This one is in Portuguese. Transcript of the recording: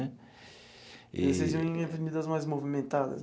Eee. Vocês iam em avenidas mais movimentadas?